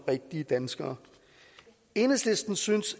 rigtige danskere enhedslisten synes